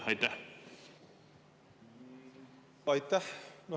Aitäh!